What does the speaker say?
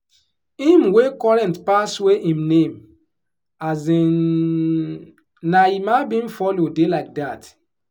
him wey current pass wey him name um na emma bin follow dey like dat